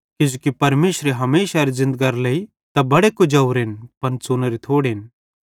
किजोकि परमेशरे हमेशारे ज़िन्दगरे लेइ त बड़े कुजोरेन पन च़ुनोरे थोड़ेन